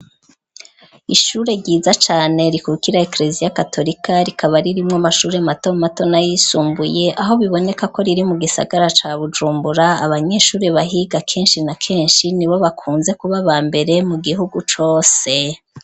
Ishure ryiza cane rikukira ikreziya katorika ,rikaba ririmwo mashure mato mato na yisumbuye ,aho biboneka ko riri mu gisagara ca Bujumbura, abanyeshuri bahiga kenshi na kenshi ni bo bakunze kuba aba mbere mu gihugu cose.